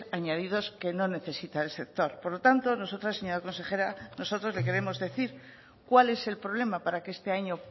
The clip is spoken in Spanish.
añadidos que no necesita el sector por lo tanto nosotras señora consejera nosotros le queremos decir cuál es el problema para que este año